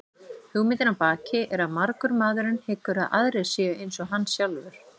Hugmyndin að baki er að margur maðurinn hyggur að aðrir séu eins og hann sjálfur.